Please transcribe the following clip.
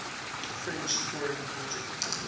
french foreign legion